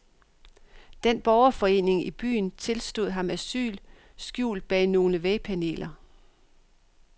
Den borgerforeningen i byen tilstod ham asyl skjult bag nogle vægpaneler.